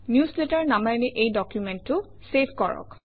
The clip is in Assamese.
নিউজলেটাৰ নামেৰে এই ডকুমেণ্টটো চেভ কৰক